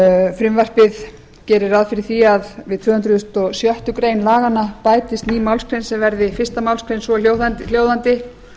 frumvarpið gerir ráð fyrir því að við tvö hundruð og sjöttu grein laganna bætist ný málsgrein sem verði fyrstu málsgrein svo hljóðandi